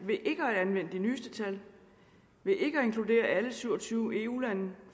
ved ikke at anvende de nyeste tal ved ikke at inkludere alle syv og tyve eu lande